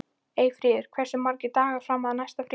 Eyfríður, hversu margir dagar fram að næsta fríi?